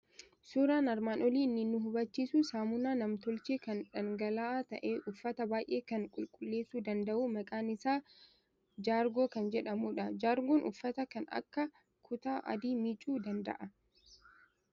Suuraan armaan olii kan inni nu hubachiisu saamunaa nam tolchee, kan dhangala'aa ta'e, uffata baay'ee kan qulqulleessuu danda'u maqaan isaa Jaargoo kan jedhamudha. Jaargoon uffata kan akka kutaa adii miicuu danda'a.